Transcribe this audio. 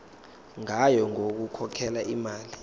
ngayo yokukhokhela imali